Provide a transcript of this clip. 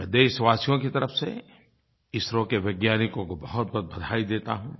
मैं देशवासियों की तरफ़ से इसरो के वैज्ञानिकों को बहुतबहुत बधाई देता हूँ